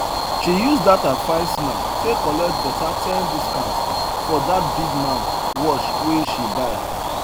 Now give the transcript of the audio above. she use that her fine smile take collect better ten discount for that big man watch wey she buy